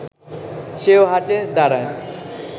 সেও হাঁটে, দাঁড়ায়